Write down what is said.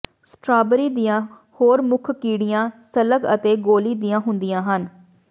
strawberry ਦੀਆਂ ਹੋਰ ਮੁੱਖ ਕੀੜੀਆਂ ਸਲੱਗ ਅਤੇ ਗੋਲੀ ਦੀਆਂ ਹੁੰਦੀਆਂ ਹਨ